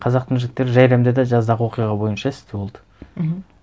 қазақтың жігіттері жәйремде де жаздағы оқиға бойынша істі болды мхм